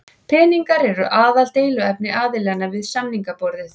Peningar eru aðaldeiluefni aðilanna við samningaborðið